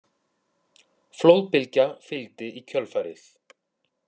Flóðbylgja fylgdi í kjölfarið